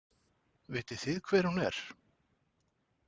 Vitið þið hver hún er?